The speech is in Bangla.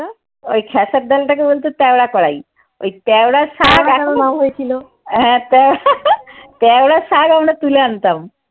ওই খেসার ডালটাকে বলতে ঐ তেওড়া করাই। ওই তেওড়া শাক তেওড়া শাক আমরা তুলে আনতাম।